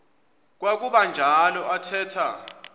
kwakuba njalo athetha